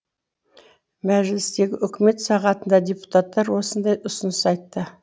мәжілістегі үкімет сағатында депутаттар осындай ұсыныс айтты